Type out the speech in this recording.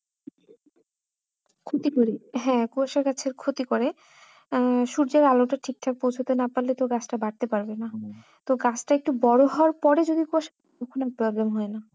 ক্ষতি করে হ্যাঁ কুয়াশা গাছের ক্ষতি করে আহ সূর্যের আলোটা ঠিকঠাক পৌঁছতে না পারলে তো গাছটা বাড়তে পারবে না তো গাছটা একটু বড়ো হওয়ার পরে যদি কুয়াশা problem হয় না